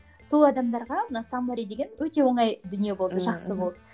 сол адамдарға мына саммари деген өте оңай дүние болды жақсы болды